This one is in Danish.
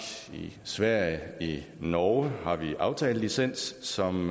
i sverige i norge har vi aftalelicens som